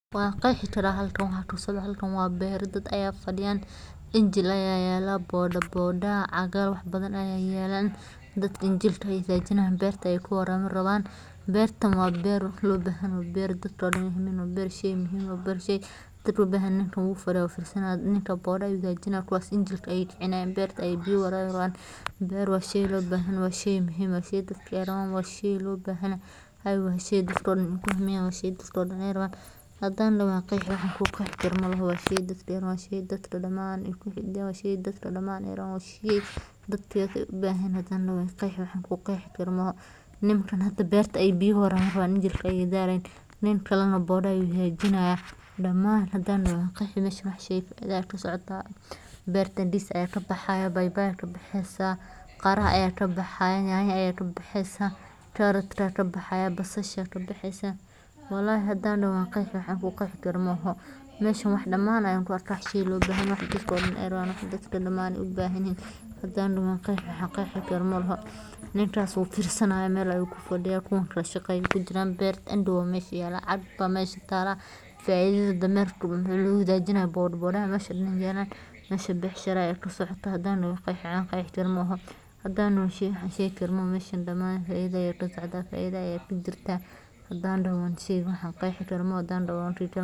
Mootooyin yaryar oo si weyn loogu adeegsado gaadiidka dadweynaha gudaha magaalooyinka iyo tuulooyinka bariga Afrika, gaar ahaan Kenya, Uganda, iyo qaybo ka mid ah Soomaaliya, waxay noqdeen qayb muhiim ah oo ka mid ah nolosha maalinlaha ah ee bulshada, iyagoo bixiya adeegyo degdeg ah, raqiis ah, islamarkaana si fudud loo heli karo, taas oo ka dhigaysa kuwo caan ka ah dadka aan haysan gaadiid gaar ah ama kuwa deg deg ugu baahan inay gaaraan meelo u dhow ama aanay gaari karin baabuurta waaweyn, inkastoo ay la kulmaan khataro badan oo la xiriira shilalka waddooyinka.